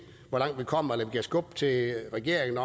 hvor langt vi kommer eller kan skubbe til regeringen